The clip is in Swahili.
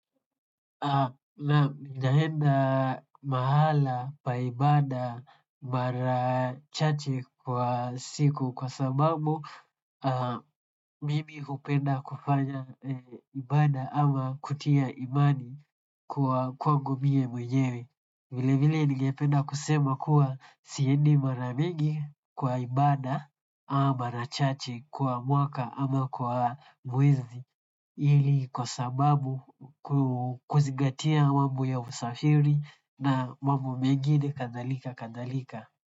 Naam, ninaenda mahala pa ibada mara chache kwa siku kwa sababu mimi hupenda kufanya ibada ama kutia imani kwangu mie mwenyewe. Vilevile nigependa kusema kuwa siendi mara mingi kwa ibada ama mara chache kwa mwaka ama kwa mwezi ili kwa sababu kuzigatia mambo ya usafiri na mambo mengine kadhalika kadhalika.